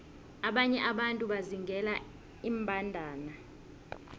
abanye abantu bazingela iimbandana